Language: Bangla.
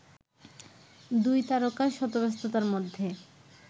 দুই তারকা শত ব্যস্ততার মধ্যে